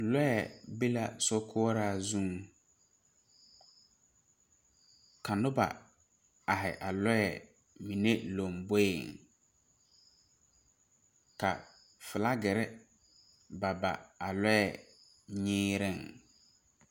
Lɔɛ be la sokoɔraa zuŋ ka nobɔ aihi a lɔɛ mine lomboeŋ ka flagirre ba ba a lɔɛ nyiiriŋ.